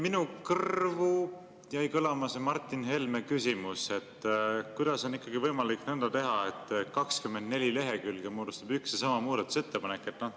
Minu kõrvu jäi kõlama see Martin Helme küsimus, et kuidas on ikkagi võimalik nõnda teha, et 24 lehekülge moodustab üks ja sama muudatusettepanek.